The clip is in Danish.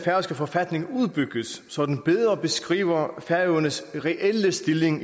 forfatning udbygges så den bedre beskriver færøernes reelle stilling